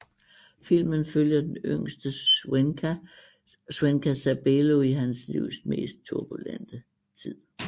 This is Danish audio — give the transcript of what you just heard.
Filmen følger den yngste swenka Sabelo i hans livs mest turbulente tid